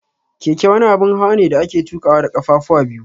Keke wani abun hawane da ake tuƙawa da kafafuwa biyu.